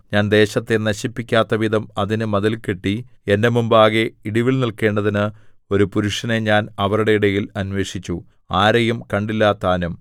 ഞാൻ ദേശത്തെ നശിപ്പിക്കാത്തവിധം അതിന് മതിൽ കെട്ടി എന്റെ മുമ്പാകെ ഇടിവിൽ നില്ക്കേണ്ടതിന് ഒരു പുരുഷനെ ഞാൻ അവരുടെ ഇടയിൽ അന്വേഷിച്ചു ആരെയും കണ്ടില്ലതാനും